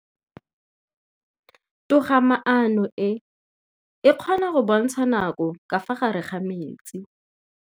Toga-maanô e, e kgona go bontsha nakô ka fa gare ga metsi.